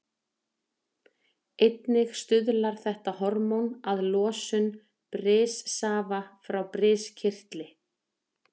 Einnig stuðlar þetta hormón að losun brissafa frá briskirtli.